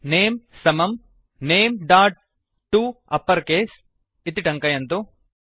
नमे name समं nameटपरकेस name dot to upper case इति टङ्कयन्तु